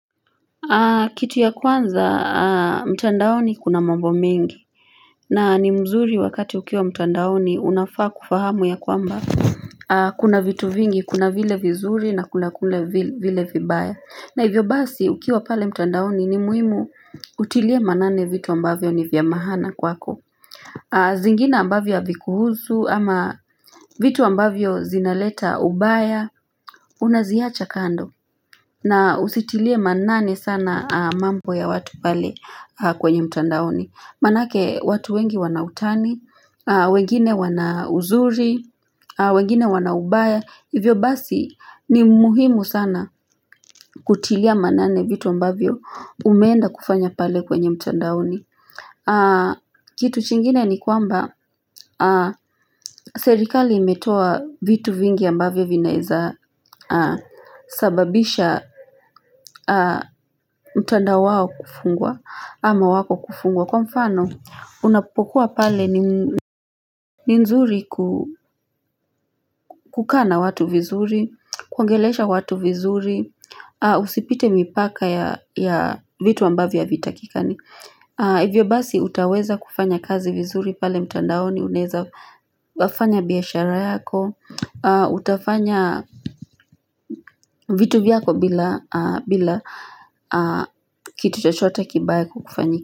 Kitu ya kwanza mtandaoni kuna mambo mingi na ni mzuri wakati ukiwa mtandaoni unafaa kufahamu ya kwamba Kuna vitu vingi kuna vile vizuri na kuna kule vile vibaya na hivyo basi ukiwa pale mtandaoni ni muhimu utilie manane vitu ambavyo ni vya mahana kwako zingine ambavyo havi kuhuzu ama vitu ambavyo zinaleta ubaya Unaziacha kando na usitilie manane sana mambo ya watu pale kwenye mtandaoni Manake watu wengi wanautani, wengine wana uzuri, wengine wana ubaya Hivyo basi ni muhimu sana kutilia manane vitu ambavyo umeenda kufanya pale kwenye mtandaoni Kitu chingine ni kwamba serikali imetoa vitu vingi ambavyo vinaeza sababisha mtandao wao kufungwa ama wako kufungwa Kwa mfano unapokuwa pale ni nzuri kukaa na watu vizuri, kuongelesha watu vizuri, usipite mipaka ya vitu ambavyo havitakikani Hivyo basi utaweza kufanya kazi vizuri pale mtandaoni unaeza fanya biashara yako utafanya vitu vyako bila kitu chochote kibaya kukufanyikia.